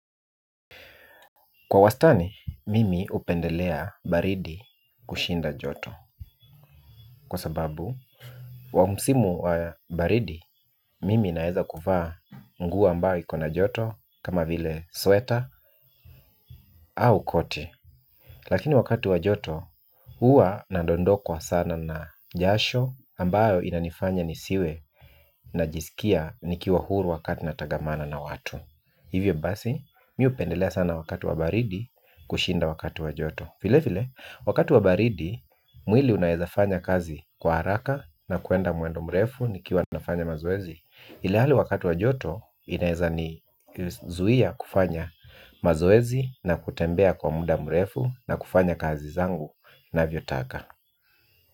Kwa wastani, mimi hupendelea baridi kushinda joto. Kwa sababu, kwa msimu wa baridi, mimi naweza kuvaa nguo ambayo ikona joto kama vile sweater au koti. Lakini wakati wa joto, huwa nadondokwa sana na jasho ambayo inanifanya nisiwe najisikia nikiwa huru wakati natangamana na watu. Hivyo basi, mimi hupendelea sana wakati wa baridi kushinda wakati wa joto. Vile vile, wakati wa baridi, mwili unaweza fanya kazi kwa haraka na kwenda mwendo mrefu nikiwa nafanya mazoezi. Ilhali wakatu wa joto, inaweza nizuia kufanya mazoezi na kutembea kwa muda mrefu na kufanya kazi zangu navyotaka.